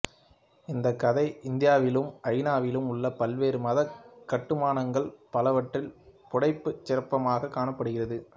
இந்த கதை இந்தியாவிலும் ஜாவாவிலும் உள்ள பல்வேறு மத கட்டுமானங்கள் பலவற்றில் புடைப்புச் சிற்பமாக காணப்படுகிறது